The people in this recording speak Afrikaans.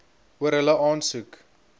oor hulle aansoek